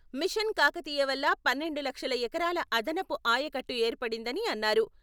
Machine Kakatiya వల్ల పన్నెండు లక్షల ఎకరాల అదనపు ఆయకట్టు ఏర్పడిందని అన్నారు.